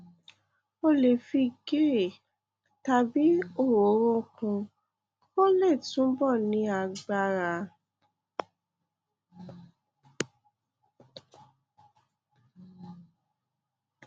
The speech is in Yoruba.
o lè fi ghee tàbí òróró kún un kó lè túbọ ní agbára